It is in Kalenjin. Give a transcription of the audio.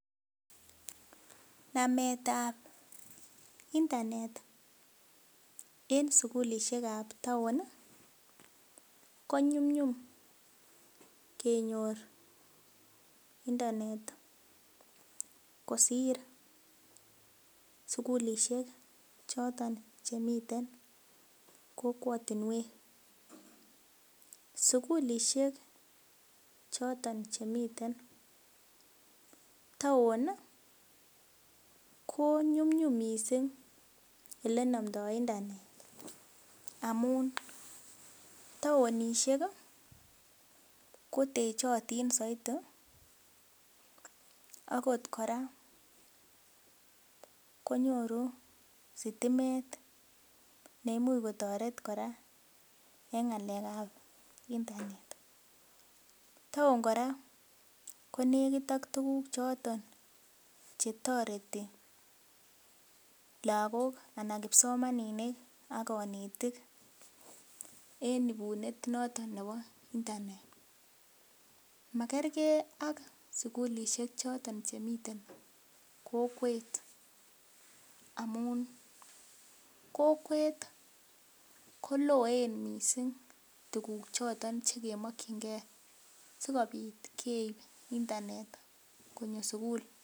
Nametab internet en sugulisiek ab town ko nyumnyum kenyor internet kosir sugulisiek choton chemiten kokwotinwek. Sugulisiek choton chemiten town ko nyumnyum missing elenomdoo internet amun taonisiek ko techotin soiti akot kora konyoru stimet neimuch kotoret kora en ng'alek ab internet, town kora konekit ak tuguk choton chetoreti lagok ana kipsomaninik ak konetik en ibunet noton nebo internet makergee ak sukulisiek choton chemiten kokwet amun kokwet koloen missing tuguk choton chekomokyingee sikobit keib internet konyo sugul